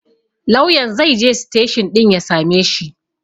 Lauyan zaije siteshin ɗin ya sameshi